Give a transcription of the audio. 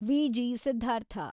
Viji Siddhartha